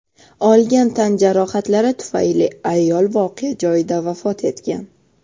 Olgan tan jarohatlari tufayli ayol voqea joyida vafot etgan.